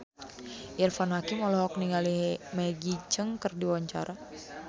Irfan Hakim olohok ningali Maggie Cheung keur diwawancara